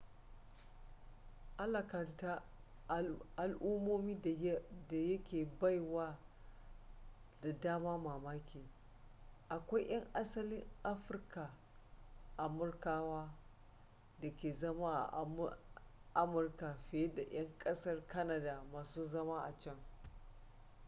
alakanta al'ummomi da yake bai wa da dama mamaki akwai 'yan asalin afirka amurkawa da ke zama a amurkar fiye da 'yan kasar canada masu zama a can